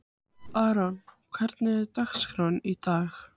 Aaron, hvernig er dagskráin í dag?